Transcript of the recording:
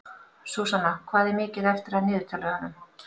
Súsanna, hvað er mikið eftir af niðurteljaranum?